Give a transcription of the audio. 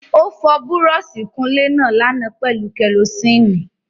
Ó fọ Búrọ́ọ̀sì ìkunlé náà lánàá pẹ̀lú kẹrosíìnì